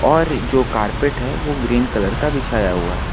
और जो कारपेट है वो ग्रीन कलर का बिछाया हुआ है।